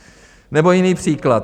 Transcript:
Nebo jiný příklad.